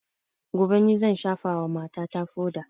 Gobe ni zan shafa wa mata ta foda